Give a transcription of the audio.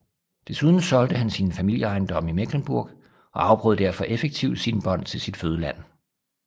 Desuden solgte han sine familieejendomme i Mecklenburg og afbrød derved effektivt sine bånd til sit fødeland